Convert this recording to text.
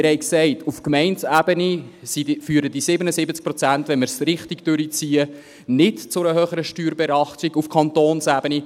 Wir haben gesagt, auf Gemeindeebene führen diese 77 Prozent, wenn wir es richtig durchziehen, nicht zu einer höheren Steuerbelastung auf Kantonsebene.